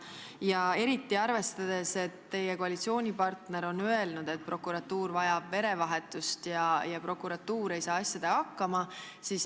Küsin seda eriti arvestades, et teie koalitsioonipartner on öelnud, et prokuratuur vajab verevahetust ja prokuratuur ei saa asjadega hakkama.